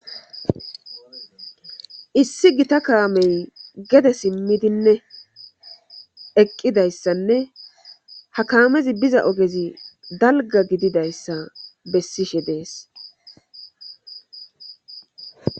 issi gita kaamey gede simmidinne eqqidayssanne hakaamezi biza ogezi dalga gididayssa bessishe dees